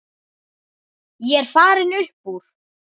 Ég er farinn upp úr.